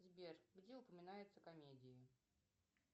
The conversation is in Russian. сбер где упоминаются комедии